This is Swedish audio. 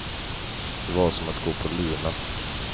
Det var som att gå på lina.